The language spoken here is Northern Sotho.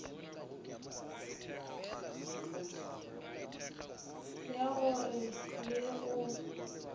ya go re le go